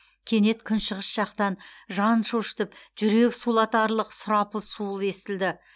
кенет күншығыс жақтан жан шошытып жүрек сулатарлық сұрапыл суыл естілді